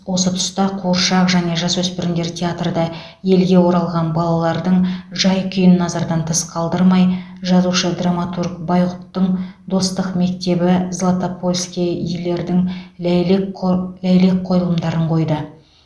осы тұста қуыршақ және жасөспірімдер театры да елге оралған балалардың жай күйін назардан тыс қалдырмай жазушы драматург байғұттың достық мектебі златопольскийлердің ләйлек қой ләйлек қойылымдарын қойды